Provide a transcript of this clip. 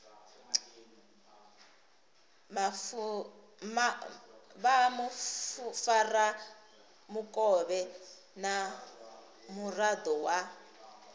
vha mufaramukovhe na muraḓo wa